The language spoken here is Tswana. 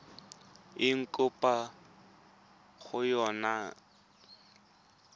eng kopo ya gago e